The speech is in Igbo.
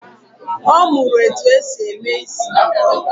Ọ mụrụ etu e si eme isị